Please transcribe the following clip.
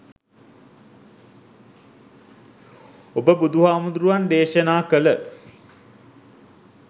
ඔබ බුදුහාමුදුරුවන් දේශනා කල